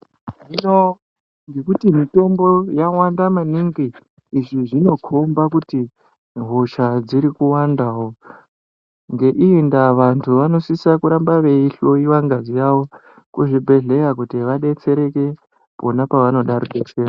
Ndo ngekuti mitombo yawanda maningi, izvi zvinokhomba kuti hosha dziri kuwandawo. Ngeiyi ndaa vantu vanosisa kuramba veihloiwa ngazi yavo, kuzvibhedhleya kuti vadetsereke pona pavanoda rubetsero.